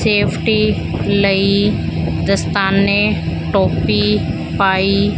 safety ਲਈ ਦਸਤਾਨੇ ਟੋਪੀ ਪਾਈ--